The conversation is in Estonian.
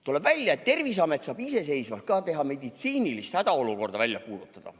Tuleb välja, et Terviseamet saab iseseisvalt meditsiinilise hädaolukorra välja kuulutada.